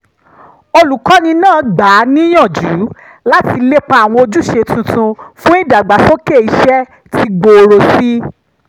olùkọ́ni náà gbà á níyànjú láti lépa àwọn ojúṣe tuntun fún ìdàgbàsókè iṣẹ́ tí gbóòrò sí i